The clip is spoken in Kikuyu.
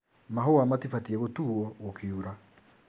Mahũa matibatie gũtuo gũkiura .